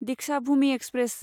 Deekshabhoomi express